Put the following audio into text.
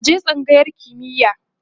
ka je tsangayar kimiya!